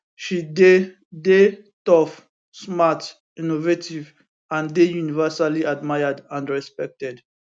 she dey dey tough smart innovative and dey universally admired and respected